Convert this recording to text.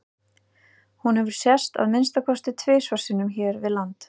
Hún hefur sést að minnsta kosti tvisvar sinnum hér við land.